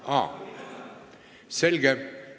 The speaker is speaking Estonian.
Aa, selge!